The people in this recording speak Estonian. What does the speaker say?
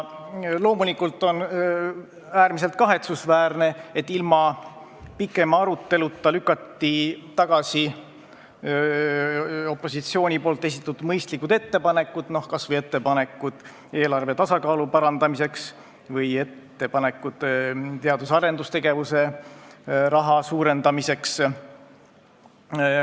Loomulikult on äärmiselt kahetsusväärne, et ilma pikema aruteluta lükati tagasi opositsiooni esitatud mõistlikud ettepanekud, kas või ettepanekud eelarve tasakaalu parandamiseks ja teadus-arendustegevuse rahastuse suurendamiseks.